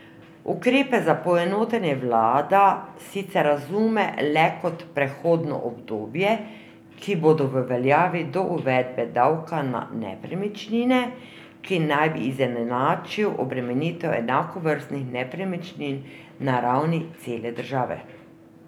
Ukrepe za poenotenje vlada sicer razume le kot prehodno obdobje, ki bodo v veljavi do uvedbe davka na nepremičnine, ki naj bi izenačil obremenitev enakovrstnih nepremičnin na ravni cele države.